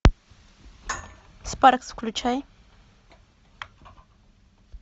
спаркс включай